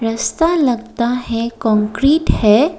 ऐसा लगता है कंक्रीट है।